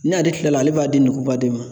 N'ale tilala, ale b'a di ngɔobaden ma.